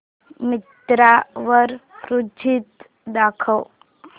मिंत्रा वर कुर्तीझ दाखव